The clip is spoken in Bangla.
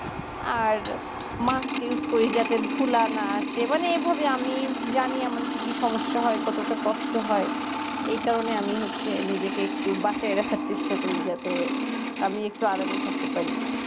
আর musk use করি যাতে ধুলানা আসে মানে এভাবে আমি জানি আমার কি কি সমস্যা হয় কতটা কষ্ট হয় এই কারণে আমি হচ্ছে নিজেকে একটু বাঁচিয়ে রাখার চেষ্টা করি যাতে আমি একটু আরামে থাকতে পারি